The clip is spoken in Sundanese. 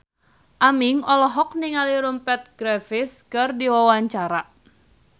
Aming olohok ningali Rupert Graves keur diwawancara